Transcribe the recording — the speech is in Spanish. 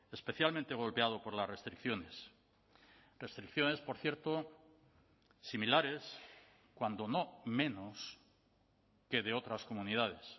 especialmente golpeado por las restricciones restricciones por cierto similares cuando no menos que de otras comunidades